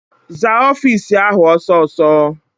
Zaa ọfịịsi ahụ ọsọ ọsọ!